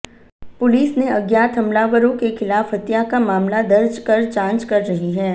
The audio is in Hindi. पुलिस ने अज्ञात हमलावरों के खिलाफ हत्या का मामला दर्ज कर जांच कर रही है